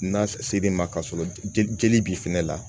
N'a se l'i ma ka sɔrɔ jeli b'i fɛnɛ la